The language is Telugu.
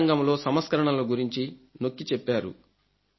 విద్యారంగంలో సంస్కరణల గురించి నొక్కి చెప్పారు